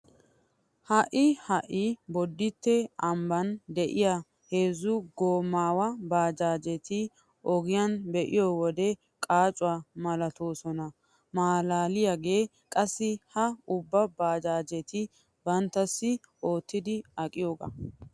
Ha"i ha"i bodditte ambban de'iya heezzu goomaawa baajaajeta ogiyan be'iyo wode qaacuwa malatoosona. Maalaaliyagee qassi ha ubba baajaajetikka banttassi oottidi aqiyogaa.